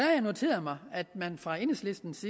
jeg noteret mig at man fra enhedslistens